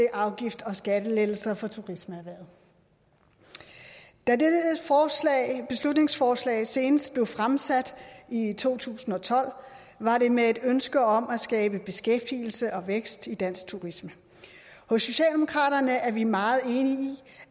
afgifts og skattelettelser for turismeerhvervet da dette beslutningsforslag senest blev fremsat i to tusind og tolv var det med et ønske om at skabe beskæftigelse og vækst i dansk turisme hos socialdemokraterne er vi meget enige i